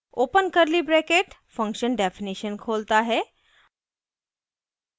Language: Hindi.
open curly bracket function definition खोलता है